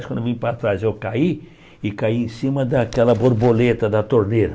Quando eu vim para trás, eu caí e caí em cima daquela borboleta da torneira.